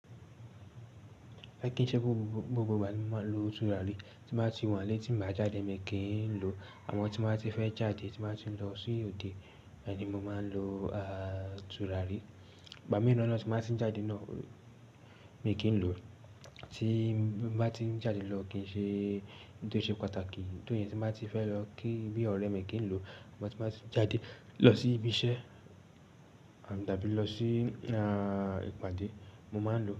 A kìí ṣe gbogbo ìgbà ní mo máa ń lo tùràrí. Tí mo bá ti waa n lé tí mo bá jáde, mi kì í ń lo. Àmọ́ tí mo bá ti fẹ́ jáde, tí mo bá ti ń lọ sí òde, bẹ́ẹ̀ ni mo máa ń lo, à, tùràrí. Ìgbà mìíràn tí mo bá ti ń jáde náà, mi kì í ń lo. Tí mo bá ti ń jáde lọ kì í ṣe-- kí ó tó ṣe pàtàkì. Nítòóri tí mo bá ti fẹ́ lọ kí bí ọ̀rẹ́ mi, kì í ń lo. Sugbon tí mo bá ti ń jáde lọ sí ibi iṣẹ́ tàbí lọ sí, à, ìpàdé, mo máa ń lo.